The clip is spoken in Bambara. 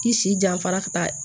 I si janfara ka taa